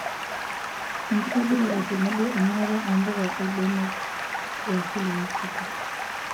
Enkitobirata tenebo emirata oo mpuka oolbenek yaasili e Afrika.